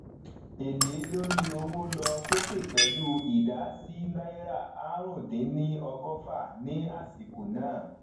èlé lórí owó lọ sokè pelu idà si náírà àrún dín ní ọgọfà ni asiko na